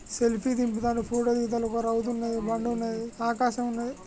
Selfie దిగుతున్నారు. Photo దిగుతున్నారు ఒక రౌతు ఉంది ఒక బండ ఉన్నది ఆకాశం ఉన్నది.